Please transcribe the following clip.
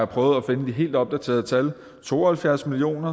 prøvet at finde de helt opdaterede tal to og halvfjerds million